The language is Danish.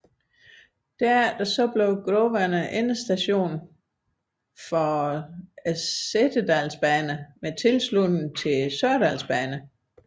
Derefter blev Grovane endestation for Setesdalsbanen med tilslutning til Sørlandsbanen